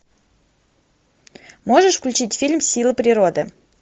можешь включить фильм силы природы